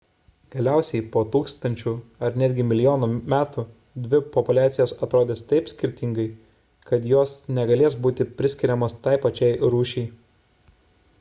galiausiai po tūkstančių ar netgi milijonų metų dvi populiacijos atrodys taip skirtingai kad jos negalės būti priskiriamos tai pačiai rūšiai